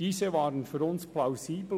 Diese waren für uns plausibel.